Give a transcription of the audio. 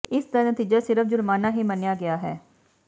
ਇਸ ਦਾ ਨਤੀਜਾ ਸਿਰਫ਼ ਜੁਰਮਾਨਾ ਹੀ ਮੰਨਿਆ ਗਿਆ ਹੈ